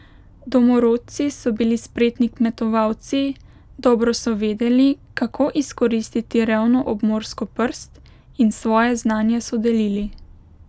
Domorodci so bili spretni kmetovalci, dobro so vedeli, kako izkoristiti revno obmorsko prst, in svoje znanje so delili.